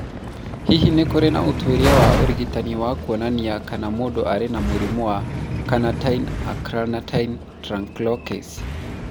Hihi nĩ kũrĩ na ũtuĩria wa ũrigitani wa kuonania kana mũndũ arĩ na mũrimũ wa carnitine acylcarnitine translocase?